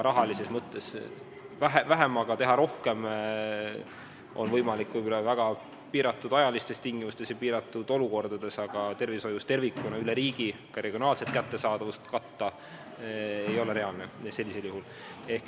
Rahalises mõttes vähemaga teha rohkem on võimalik võib-olla väga piiratud ajal ja piiratud olukordades, aga tervishoius tervikuna ei ole üle riigi ega ka regiooniti sellisel juhul reaalne kättesaadavust tagada.